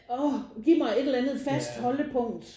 Ah giv mig et eller andet fast holdepunkt